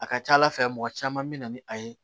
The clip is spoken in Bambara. A ka ca ala fɛ mɔgɔ caman bɛ na ni a ye